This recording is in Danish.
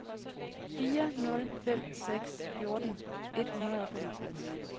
fire nul fem seks fjorten et hundrede og femogtres